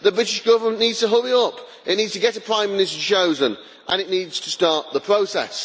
The British Government needs to hurry up, it needs to get a prime minister chosen and it needs to start the process.